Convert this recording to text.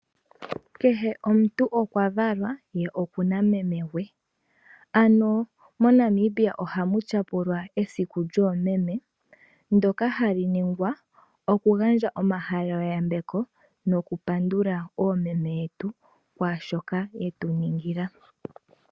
Kehe omuntu okwa valwa ye okuna meme gwe. Ano moNamibia ohamu tyapulwa esiku lyoomeme, ndyoka hali ningwa okugandja omahalelo yambeko nokupandula oomeme yetu kwaashoka yetu ningila.